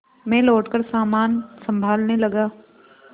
मैं लौटकर सामान सँभालने लगा